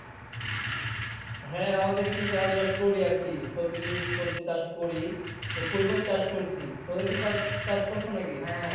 হ্যাঁ আমাদের কিছু চাষ বাস করি আরকি সবজি কিছু সবজি চাষ করি তো ফুলকপি চাষ করছি তো তোমরা কিছু চাষ চাষ করছো নাকি?